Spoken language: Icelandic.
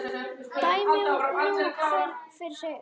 Dæmi nú hver fyrir sig.